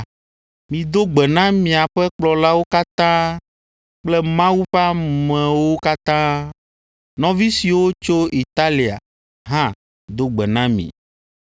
Mido gbe na miaƒe kplɔlawo katã kple Mawu ƒe ameawo katã. Nɔvi siwo tso Italia hã do gbe na mi.